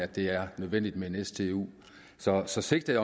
det er nødvendigt med en stu så så sigtet